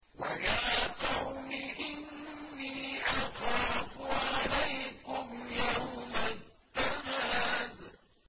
وَيَا قَوْمِ إِنِّي أَخَافُ عَلَيْكُمْ يَوْمَ التَّنَادِ